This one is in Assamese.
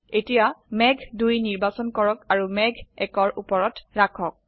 এতিয়া মেঘ ২ নিৰ্বাচন কৰক আৰু মেঘ ১ ৰ ওপৰত ৰাখক